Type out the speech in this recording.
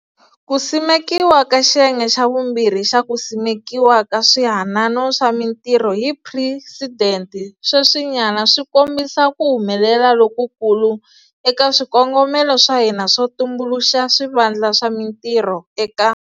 Ku simekiwa ka xiyenge xa vumbirhi xa ku simekiwa ka Swihanano swa Mitirho hi Presidente sweswinyana swi kombisa ku humelela lokukulu eka swikongomelo swa hina swo tumbuluxa swivandla swa mintirho eka.